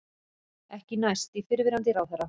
Ekki næst í fyrrverandi ráðherra